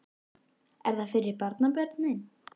Hugrún: Er það fyrir barnabörnin?